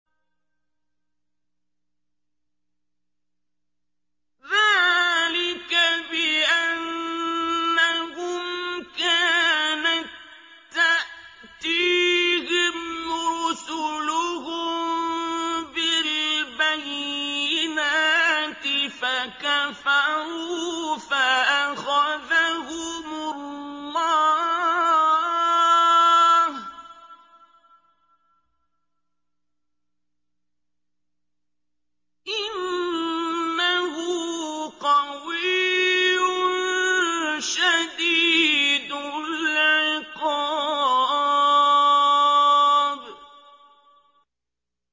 ذَٰلِكَ بِأَنَّهُمْ كَانَت تَّأْتِيهِمْ رُسُلُهُم بِالْبَيِّنَاتِ فَكَفَرُوا فَأَخَذَهُمُ اللَّهُ ۚ إِنَّهُ قَوِيٌّ شَدِيدُ الْعِقَابِ